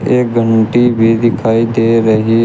एक घंटी भी दिखाई दे रही है।